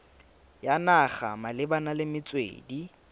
ya naga malebana le metswedi